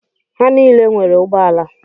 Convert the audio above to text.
Ha niile nwere ụgbọala.